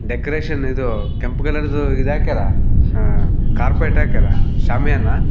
Decoration ಇದು ಕೆಂಪು ಕಲರಿದು ಇದು ಹಾಕ್ಯಾರ ಕಾರ್ಪೇಟ್ ಹಾಕ್ಯಾರ ಶ್ಯಾಮಿಯನ.